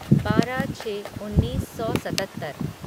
बारह छः उन्नीस सौ सतत्तर